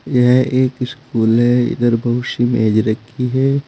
यह एक स्कूल है इधर बहुत सी मेज रखी है।